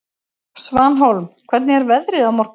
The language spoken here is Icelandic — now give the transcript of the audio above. Svanhólm, hvernig er veðrið á morgun?